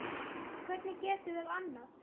Hvernig getum við annað?